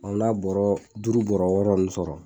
n'a bɔrɔɔ duuru bɔrɔ wɔɔrɔ nn sɔrɔ